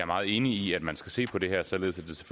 meget enig i at man skal se på det her således